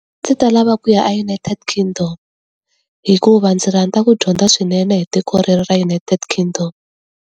Ndzi ta lava kuya aUnited Kingdom. Hikuva ndzi rhandza ku dyondza swinene hi tiko rero ra United Kingdom.